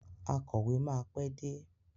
Akọ̀wé máa pé dé.